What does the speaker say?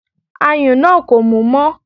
Ayùn náà kò mú mọ́